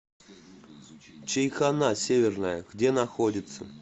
чайхона северная где находится